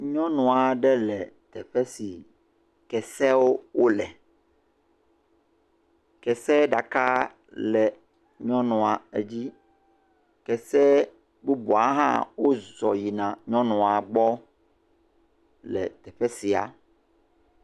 nyɔnuaɖe le teƒe si kesewo wóle kese ɖaka le nyɔnua dzi kese bubuawo hã wó zɔ yie nyɔnuɔ gbɔ le teƒe sia